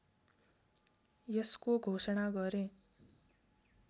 यसको घोषणा गरे